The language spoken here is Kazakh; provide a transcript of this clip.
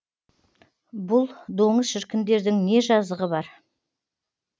бұл доңыз шіркіндердің не жазығы бар